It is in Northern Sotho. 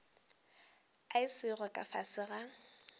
a sego ka fase ga